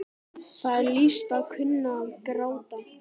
Það er list að kunna að gráta.